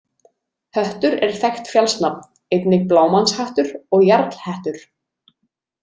Höttur er þekkt fjallsnafn, einnig Blámannshattur og Jarlhettur.